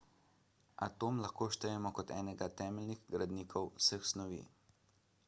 atom lahko štejemo kot enega temeljnih gradnikov vseh snovi